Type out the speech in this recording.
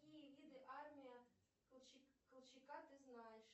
какие виды армия колчака ты знаешь